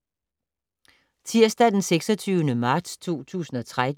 Tirsdag d. 26. marts 2013